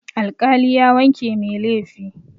Alƙali ya wanke mai laifi.